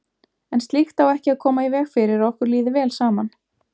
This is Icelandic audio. En slíkt á ekki að koma í veg fyrir að okkur líði vel saman.